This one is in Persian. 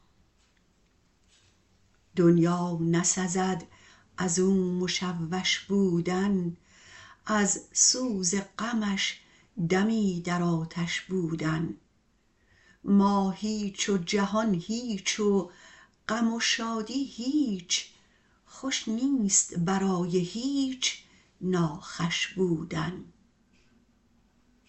دنیا نسزد ازو مشوش بودن از سوز غمش دمی در آتش بودن ما هیچ و جهان هیچ و غم و شادی هیچ خوش نیست برای هیچ ناخوش بودن